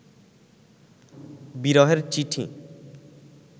বিরহের চিঠি